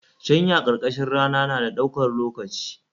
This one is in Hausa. Shanya karkashin rana na da ɗaukar lokaci